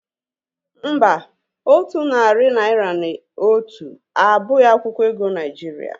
Mba, otu narị naira na otu abụghị akwụkwọ ego Naijiria